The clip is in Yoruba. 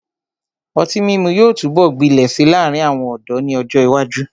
Ọtí mímu yóò túbọ̀ gbilẹ̀ si láàrin àwọn ọ̀dọ́ ni ọ́jọ ìwájú.